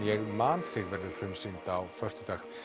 ég man þig verður frumsýnd á föstudag